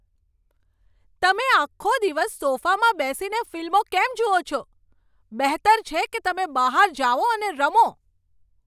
તમે આખો દિવસ સોફામાં બેસીને ફિલ્મો કેમ જુઓ છો? બહેતર છે કે તમે બહાર જાઓ અને રમો!